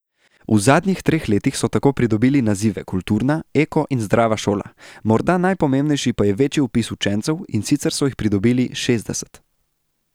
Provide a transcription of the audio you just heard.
V zadnjih treh letih so tako pridobili nazive kulturna, eko in zdrava šola, morda najpomembnejši pa je večji vpis učencev, in sicer so jih pridobili šestdeset.